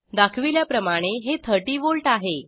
दाखविल्याप्रमाणे हे 30 वोल्ट आहे